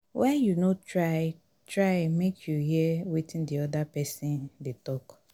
why you no try try make you hear wetin di oda pesin dey tok.